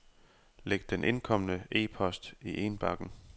Læg den indkomne e-post i indbakken.